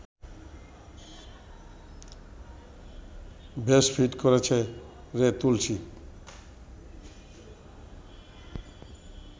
বেশ ফিট করেছে রে তুলসী